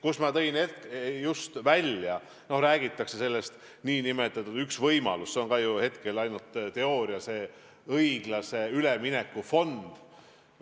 Ühe võimalusena räägitakse – see on tõesti üks võimalus, hetkel ainult teooria – õiglase ülemineku fondist.